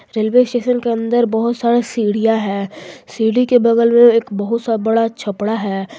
Railway station के अंदर बहुत सारा सीढ़ियां है सीढ़ी के बगल में एक बहुत सा बड़ा छपरा है।